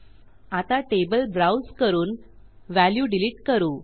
आता table browse करून value delete करू